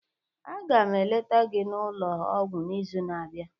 Aga m eleta gị n'ụlọ ọgwụ n'izu na-abịa